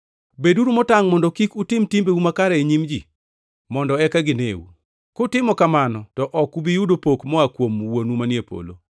“Beduru motangʼ mondo kik utim timbeu makare e nyim ji, mondo eka gineu. Kutimo kamano to ok ubi yudo pok moa kuom Wuonu manie polo.